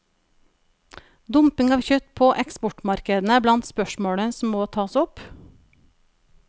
Dumping av kjøtt på eksportmarkedene er blant spørsmålene som må tas opp.